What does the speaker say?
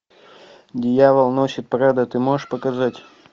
дьявол носит прада ты можешь показать